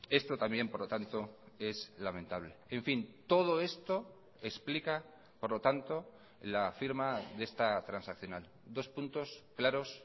esto también por lo tanto es lamentable en fin todo esto explica por lo tanto la firma de esta transaccional dos puntos claros